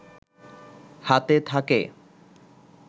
হাতে থাকে